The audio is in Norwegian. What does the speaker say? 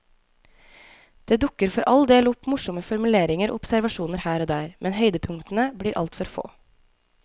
Det dukker for all del opp morsomme formuleringer og observasjoner her og der, men høydepunktene blir altfor få.